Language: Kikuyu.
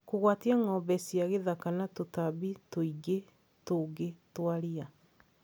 kũgwatia ng'ombe cia gĩthaka na tũtambi tũingĩ tũngĩ twa ria